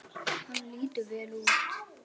Hann lítur vel út